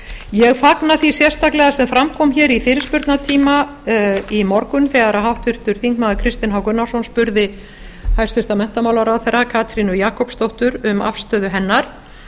ég fagna því sérstaklega sem fram kom hér í fyrirspurnatíma í morgun þegar háttvirtur þingmaður kristinn h gunnarsson spurði hæstvirtur menntamálaráðherra katrínu jakobsdóttur um afstöðu hennar